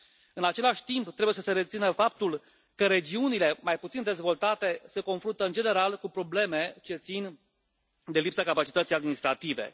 În același timp, trebuie să se rețină faptul că regiunile mai puțin dezvoltate se confruntă, în general, cu probleme ce țin de lipsa capacității administrative.